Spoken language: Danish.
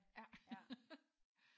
Ja ja